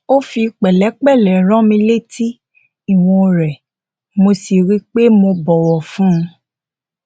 ó fi pẹlẹpẹlẹ rán mi létí ìwọn rẹ mo sì rí i pé mo bọwọ fún un